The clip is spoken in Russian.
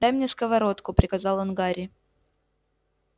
дай мне сковородку приказал он гарри